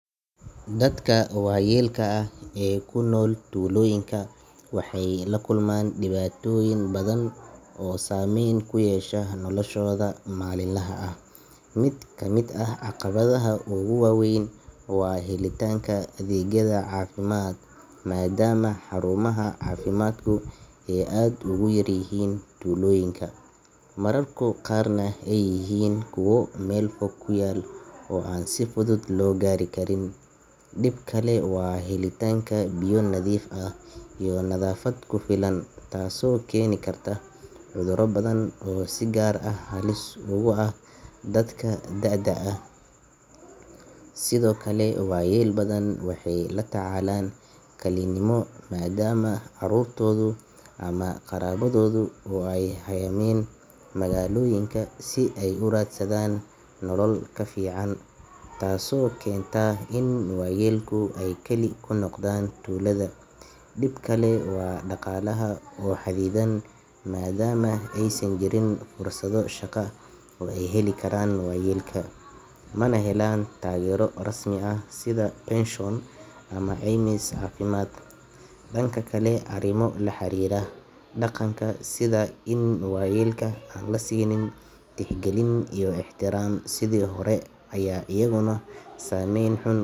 Dadka waayeelka ah ee ku nool tuulooyinka waxay la kulmaan dhibaatooyin badan oo saameyn ku yeesha noloshooda maalinlaha ah. Mid ka mid ah caqabadaha ugu waa weyn waa helitaanka adeegyada caafimaad, maadaama xarumaha caafimaadku ay aad ugu yaryihiin tuulooyinka, mararka qaarna ay yihiin kuwo meel fog ku yaal oo aan si fudud loo gaari karin. Dhib kale waa helitaanka biyo nadiif ah iyo nadaafad ku filan, taasoo keeni karta cudurro badan oo si gaar ah halis ugu ah dadka da’da ah. Sidoo kale, waayeel badan waxay la tacaalaan kalinimo maadaama carruurtoodu ama qaraabadoodu ay u hayaameen magaalooyinka si ay u raadsadaan nolol ka fiican, taasoo keenta in waayeelka ay kali ku noqdaan tuulada. Dhib kale waa dhaqaalaha oo xaddidan, maadaama aysan jirin fursado shaqo oo ay heli karaan waayeelka, mana helaan taageero rasmi ah sida pension ama caymis caafimaad. Dhanka kale, arrimo la xiriira dhaqanka sida in waayeelka aan la siinin tixgelin iyo ixtiraam sidii hore ayaa iyaguna saameyn xun.